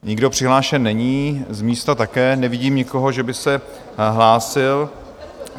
Nikdo přihlášen není, z místa také nevidím nikoho, že by se hlásil.